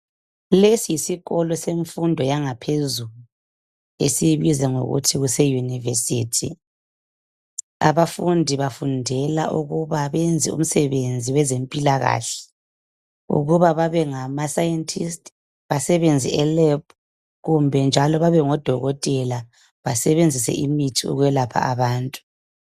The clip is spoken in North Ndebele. Lesi yisikolo semfundo yangaphezulu esiyibiza kuthiwe yi university abafundi bafundela ukwenza umsebenzi wezempilakahle ukuba babe ngamascientist basebenze elab kumbe njalo bebe ngodotela besebenzise imithi ukuyelapha abantu